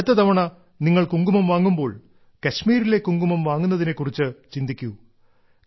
അടുത്ത തവണ നിങ്ങൾ കുങ്കുമം വാങ്ങുമ്പോൾ കശ്മീരിലെ കുങ്കുമം വാങ്ങുന്നതിനെ കുറിച്ചു ചിന്തിക്കൂ